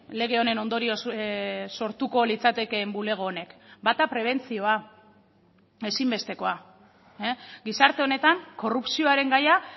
lege honen ondorioz sortuko litzatekeen bulego honek bata prebentzioa ezinbestekoa gizarte honetan korrupzioaren gaia